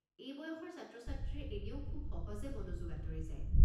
এই বয়সৰ ছাত্ৰ-ছাত্ৰীৰ এনেও খুব সহজে মনোযোগ আঁতৰি যায়।